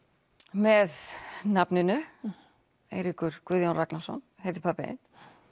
með nafninu Eiríkur Guðjón Ragnarsson heitir pabbi þinn